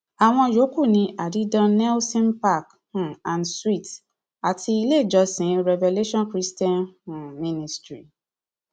àwọn yòókù ní addie don nelson park um and suites àti ilé ìjọsìn revelation christian um ministry